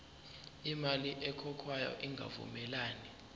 imali ekhokhwayo ingavumelani